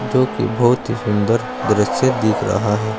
जो कि बहोत ही सुंदर दृश्य दिख रहा है।